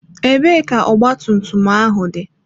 Ebee ka ọgba tum tum ahụ dị?